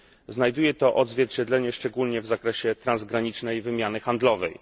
Znajduje to odzwierciedlenie szczególnie w zakresie transgranicznej wymiany handlowej.